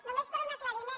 només per un aclariment